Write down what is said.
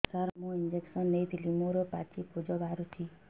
ସାର ମୁଁ ଇଂଜେକସନ ନେଇଥିଲି ମୋରୋ ପାଚି ପୂଜ ବାହାରୁଚି